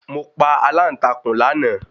Mo pa aláǹtakùn láàná